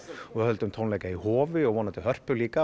og við höldum tónleika í Hofi og vonandi Hörpu líka